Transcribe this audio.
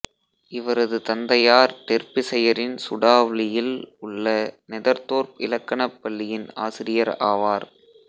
இவரது தந்தையார் டெர்பிசயரின் சுடாவ்லியில் உள்ள நெதெர்தோர்ப் இலக்கணப் பள்ளியின் ஆசிரியர் ஆவார்